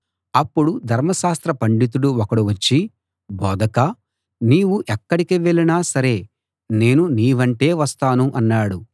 అప్పుడు ధర్మశాస్త్ర పండితుడు ఒకడు వచ్చి బోధకా నీవు ఎక్కడికి వెళ్ళినా సరే నేను నీ వెంటే వస్తాను అన్నాడు